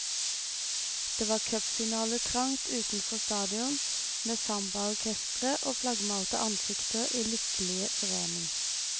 Det var cupfinaletrangt utenfor stadion, med sambaorkestre og flaggmalte ansikter i lykkelig forening.